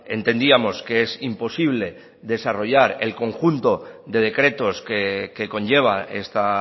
entendíamos que es imposible desarrollar el conjunto de decretos que conlleva esta